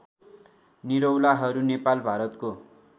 निरौलाहरू नेपाल भारतको